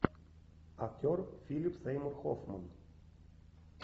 актер филип сеймур хоффман